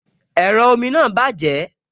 Ẹ̀rọ omi náà bàjẹ́